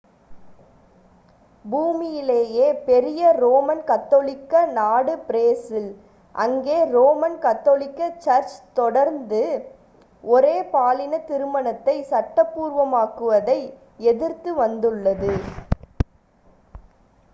பூமியிலேயே பெரிய ரோமன் கத்தோலிக்க நாடு பிரேசில் அங்கே ரோமன் கத்தோலிக்க சர்ச் தொடர்ந்து ஒரே பாலின திருமணத்தைச் சட்டபூர்வமாக்குவதை எதிர்த்து வந்துள்ளது